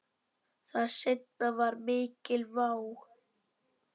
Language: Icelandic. Það seinna var mikil vá.